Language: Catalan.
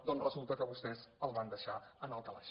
doncs resulta que vostès el van deixar en el calaix